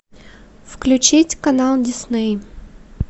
включить канал дисней